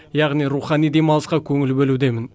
яғни рухани демалысқа көңіл бөлудемін